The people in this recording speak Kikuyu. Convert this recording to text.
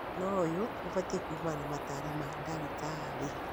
no ũyũ ũbatiĩ kuumana na mataaro ma ndagĩtarĩ